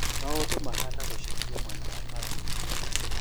Maũndũ mahana gũcejia mwena wa Palestine